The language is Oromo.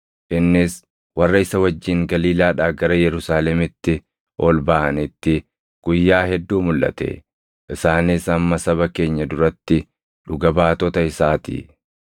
Innis warra isa wajjin Galiilaadhaa gara Yerusaalemitti ol baʼanitti guyyaa hedduu mulʼate; isaanis amma saba keenya duratti dhuga baatota isaa ti.